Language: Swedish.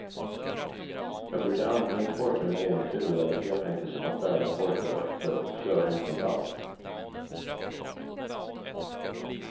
Jag brukar antingen torka mina egna kryddor eller helt enkelt köpa färdiga torkade örter och köra ihop med salt.